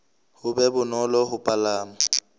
ho be bonolo ho palama